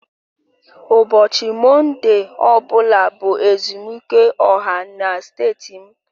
Ụbọchị Mọnde ọ bụla bụ ezumike ọha na steeti m